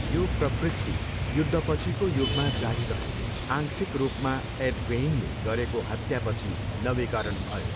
यो प्रवृत्ति युद्धपछिको युगमा जारी रह्यो, आंशिक रूपमा एड गेइनले गरेको हत्यापछि नवीकरण भयो।